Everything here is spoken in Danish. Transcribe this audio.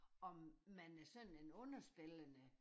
Om man er sådan en underspillende